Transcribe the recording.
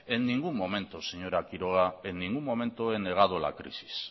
en ningún momento señora quiroga en ningún momento he negado la crisis